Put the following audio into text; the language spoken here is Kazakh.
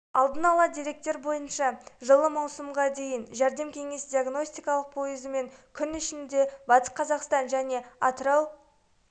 алдын ала деректер бойынша жылы маусымға дейін жәрдем кеңес диагностикалық пойызымен күн ішінде батыс қазақстан және аырау